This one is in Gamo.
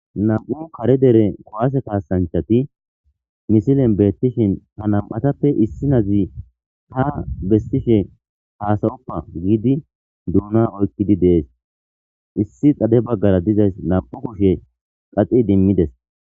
nam'u kare dere qowase kaasanchati misilen beettishin ha nam'atappe issi nazi ha bessishe haasayoppa giidi duuna oykkidi dees issi xade baggara dizays nam'u kushe qaxi idimmides